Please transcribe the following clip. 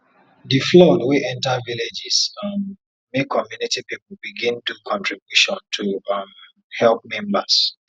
di flood wey enter villages um make community people begin do contribution to um help members